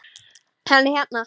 Hann er hérna.